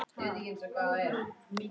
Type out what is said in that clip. Ég stend stíf fyrir framan hann.